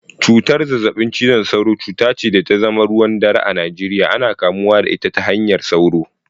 Cutar zazzabin cizon sauro, cuta ce da ta zama ruwan dare a Najeriya, ana kamuwa da ita ta hanyar sauro